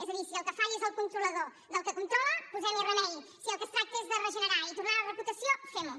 és a dir si el que falla és el controlador del que controla posem hi remei si del que es tracta és de regenerar ho i tornar li la reputació fem ho